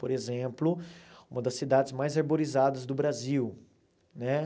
Por exemplo, uma das cidades mais arborizadas do Brasil né.